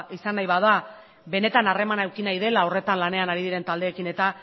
izan nahi bada benetan harremana eduki nahi dela horretan lanean ari diren taldeekin eta